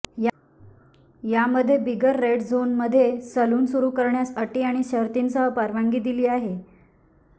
यामध्ये बिगर रेड झोनमध्ये सलून सुरु करण्यास अटी आणि शर्थींसह परवानगी दिली आहे